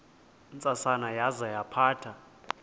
ntsasana yaza yaphatha